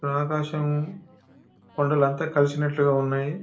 ఆకాశం కొండలు అంత కలిసినట్టుగా ఉన్నాయి.